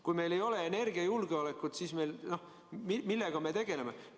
Kui meil ei ole energiajulgeolekut, siis millega me tegeleme?